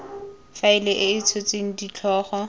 faela e e tshotseng ditlhogo